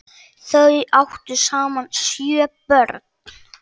Þau áttu saman sjö börn.